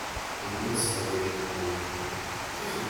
Amun sopet ng'ung'.